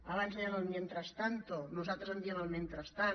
abans deien el mientras tanto nosaltres en diem el mentrestant